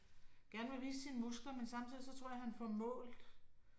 Gerne vil vise sine muskler, men samtidig så tror jeg han får målt